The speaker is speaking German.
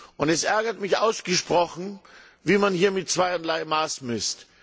Und es ärgert mich ausgesprochen, wie man hier mir zweierlei Maß misst.